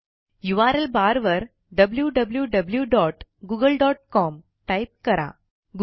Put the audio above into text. URL barवर wwwgooglecomटाईप करा